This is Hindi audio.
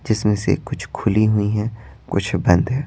जिसमें से कुछ खुली हुई हैं कुछ बंद है।